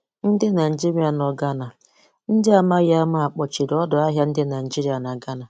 Ndị Naịjirịa nọ Ghana: Ndị amaghị ama kpochiri ọdọahịa ndị Najiria na Ghana.